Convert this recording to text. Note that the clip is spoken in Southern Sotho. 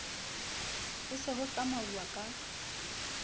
ho se ho tsamauwa ka